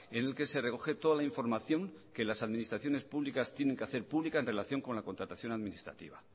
en el que se recoge toda la información que las administraciones públicas tienen que hacer pública en relación con la contratación administrativa